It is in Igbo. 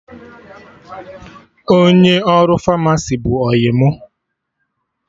Onye ọrụ Famasi bụ ọyị mụ